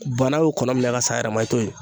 Bana y'o kɔnɔ min ka s'a yɛrɛ ma, i t'o ye.